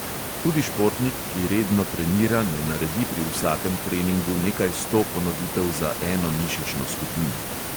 Tudi športnik, ki redno trenira, ne naredi pri vsakem treningu nekaj sto ponovitev za eno mišično skupino.